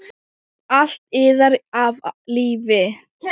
Allt iðar af lífi.